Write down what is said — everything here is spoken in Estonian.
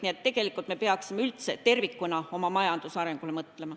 Nii et tegelikult me peaksime üldse tervikuna oma majanduse arengule mõtlema.